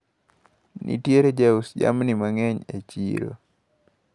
Nitiere jous jamni mang`eny e chiro.